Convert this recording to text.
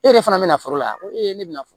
E yɛrɛ fana bɛna foro la ko e bɛna fɔ